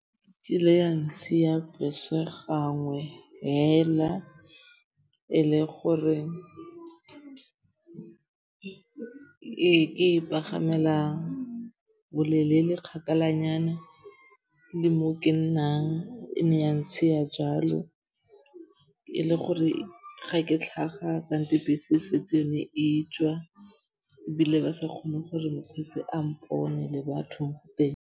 Kile ya ntshiya bese gangwe fela e le gore ke e pagamela bolelele kgakala nyana le mo ke nnang. E ne ya ntshiya jalo e le gore ga ke tlhaga kante bese setse yone e tswa ebile ba sa kgone gore mokgweetsi a mpone le batho mo teng.